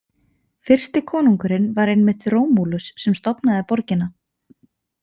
Fyrsti konungurinn var einmitt Rómúlus sem stofnaði borgina.